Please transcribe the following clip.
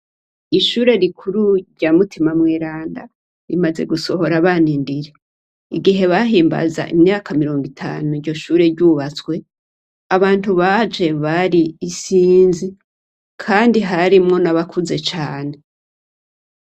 Ishure rikuru rya Mutima mweranda, rimaze gusohora abana indiri. Igihe bahimbaza imyaka mirongo itanu iryo shure ryubatswe, abantu baje bari isinzi kandi harimwo nabakuze cane.